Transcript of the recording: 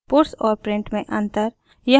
puts और print में अन्तर